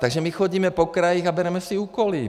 Takže my chodíme po krajích a bereme si úkoly.